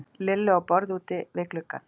Lillu á borð úti við gluggann.